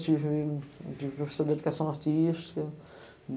Tive, tive professor da educação artística.